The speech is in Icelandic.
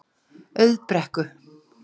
Auðbrekku